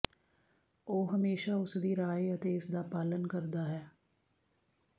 ਉਹ ਹਮੇਸ਼ਾ ਉਸ ਦੀ ਰਾਏ ਅਤੇ ਇਸ ਦਾ ਪਾਲਣ ਕਰਦਾ ਹੈ